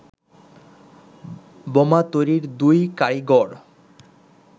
বোমা তৈরির দুই কারিগর